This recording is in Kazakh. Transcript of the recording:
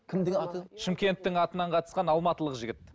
кім деген аты шымкенттің атынан қатысқан алматылық жігіт